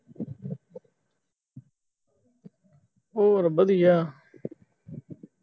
ਹੋਰ ਵਧੀਆ